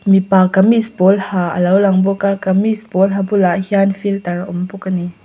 mipa kamis pawl ha alo lang bawka kamis pawl ha bulah hian filter a awm bawk ani.